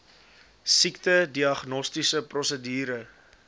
siekte diagnostiese prosedure